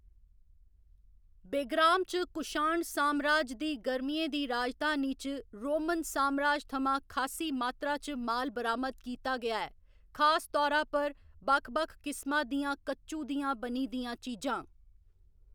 बेग्राम च कुशाण सामराज दी गर्मियें दी राजधानी च रोमन सामराज थमां खासी मात्रा च माल बरामद कीता गेआ ऐ, खास तौरा पर बक्ख बक्ख किस्मा दियां कच्चू दियां बनी दियां चीजां।